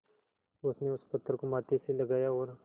उसने उस पत्थर को माथे से लगाया और